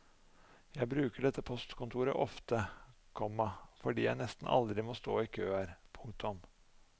Jeg bruker dette postkontoret ofte, komma fordi jeg nesten aldri må stå i kø her. punktum